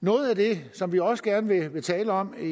noget af det som vi også gerne vil tale om i